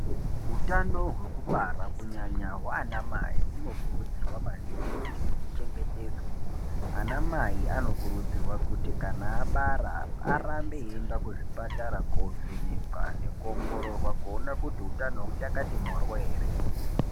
Utano hwekubara kunyanya hwana mai hunokurudzirwa maningi kuti huchengetedzwe ana mai anokurudzirwa kuti kana abara arambe eienda kuzvibhedhlera koovhenekwa nekuongorororwa kuona kyti utano huchakati moryo ere.